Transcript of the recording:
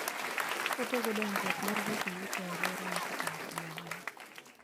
Otego dongruok mar weche yuto e alworano kokalo kuom ohala.